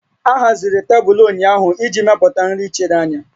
A haziri tebụl ndị ahụ iji mepụta nri chiri anya